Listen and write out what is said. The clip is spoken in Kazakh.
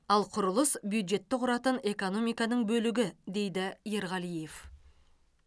ал құрылыс бюджетті құратын экономиканың бөлігі дейді ерғалиев